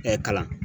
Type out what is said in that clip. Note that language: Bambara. kalan